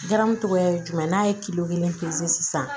Garan tɔgɔya ye jumɛn ye n'a ye kelen sisan